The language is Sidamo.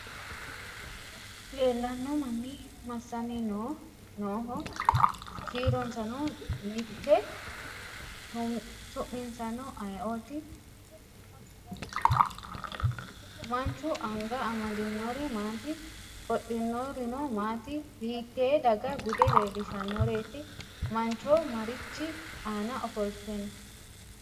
Leellanno manni massanni nooho? Kiironsano me'te ? Su'minsano ayeeooti? Manchu anga amadinori maati? Qodhinorino maati? Hiittee daga bude leellishannoreeti? Mancho marichi aana ofolte no?